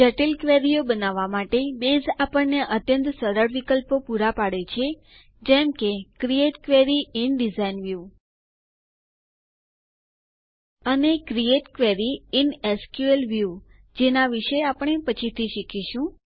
જટિલ ક્વેરીઓ બનાવવાં માટે બેઝ આપણને અત્યંત સરળ વિકલ્પો પુરા પાડે છે જેમ કે create query in design view અને create query in SQL view જેના વિશે આપણે પછીથી શીખીશું